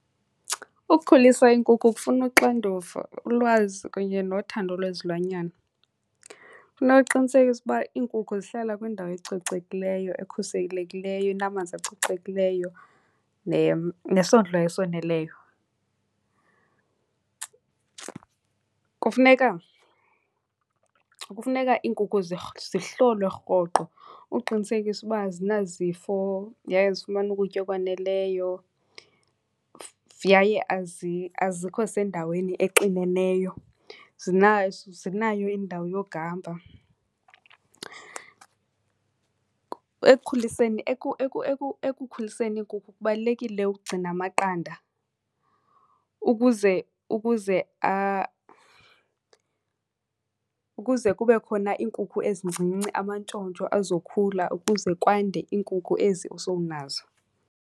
Ukukhulisa iinkukhu kufuna uxanduva, ulwazi kunye nothando lwezilwanyana. Kufuneka uqinisekise uba iinkukhu zihlala kwindawo ecocekileyo, ekhuselekileyo, enamanzi acocekileyo nesondlo esoneleyo. Kufuneka, kufuneka iinkukhu zihlolwe rhoqo uqinisekisa uba azinazifo yaye zifumana ukutya okwaneleyo yaye azikho sendaweni exineneyo, zinayo indawo yokuhamba. Ekukhuliseni, ekukhuliseni iinkukhu kubalulekile ukugcina amaqanda ukuze, ukuze , ukuze kube khona iinkukhu ezincinci, amantshontsho azokhula ukuze kwande iinkukhu ezi osowunazo.